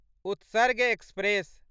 Utsarg express